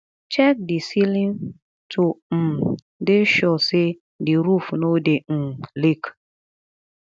check di ceiling to um dey sure sey di roof no dey um leak